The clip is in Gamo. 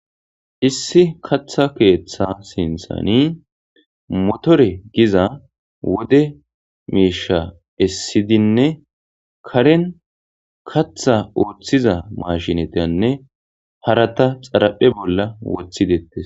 Issi katha keeththa sinthani motore giza wode miisha essidinne karen katha ooththiza mashinatianne hara ta xaraphe bolla wothidettes.